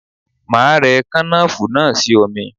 Máa rẹ kànáfùrú náà sí omi.